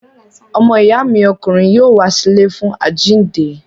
Ọmọ ìyá mi ọkùnrin yóò wá sí ilé fún àjíǹde.